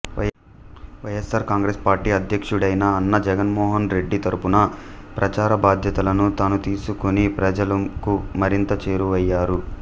YSR Congress party అధ్యక్షుడైన అన్న జగన్మోహన్ రెడ్డితరపున ప్రచార బాధ్యతలను తను తీసుకునిప్రజలకు మరింత చేరువయ్యారు